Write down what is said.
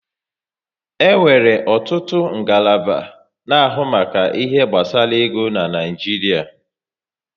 E nwere ọtụtụ ngalaba na-ahụ maka ihe gbasara ego n'Naijiria